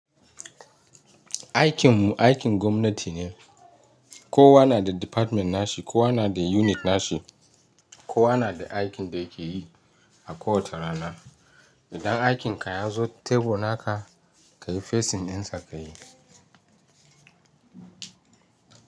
Aikinmu aikin gwamnati ne. Kowa na da department nashi, kowa na da unit nashi, kowa na da aikin da yake yi a kowace rana. Idan aikin ka ya zo tebur naka ka yi facing dinsa ka yi.